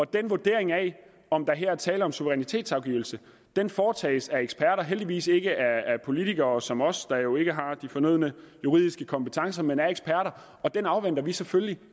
den vurdering af om der her er tale om suverænitetsafgivelse foretages af eksperter heldigvis ikke af politikere som os der jo ikke har de fornødne juridiske kompetencer men af eksperter og den afventer vi selvfølgelig